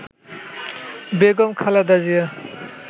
Begum Khaleda Zia